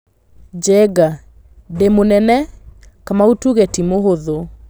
Njenga: 'Ndĩmũmene' Kamau tuge ti mũhũthũ.